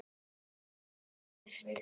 Guðlaug og Eggert.